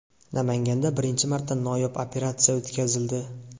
Namanganda birinchi marta noyob operatsiya o‘tkazildi.